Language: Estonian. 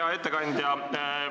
Hea ettekandja!